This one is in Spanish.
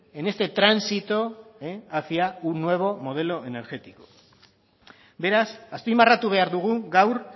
en este tránsito hacia un modelo energético beraz azpimarratu behar dugu gaur